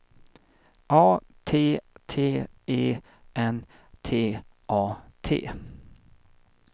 A T T E N T A T